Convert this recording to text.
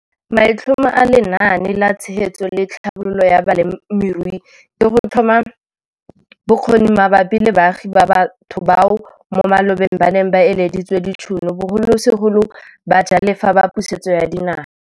Maitlhomo a Lenaane la Tshegetso le Tlhabololo ya Balemirui ke go tlhoma bokgoni mabapi le baagi le batho bao mo malobeng ba neng ba ileditswe ditšhono, bogolosegolo bajalefa ba Pusetso ya Dinaga.